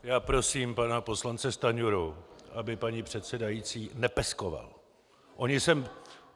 Já prosím pana poslance Stanjuru, aby paní předsedající nepeskoval.